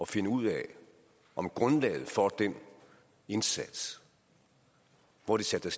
finde ud af om grundlaget for den indsats hvor de satte